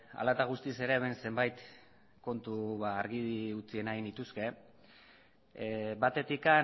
hala eta guztiz ere hemen zenbait kontu argi utzi nahi nituzke batetik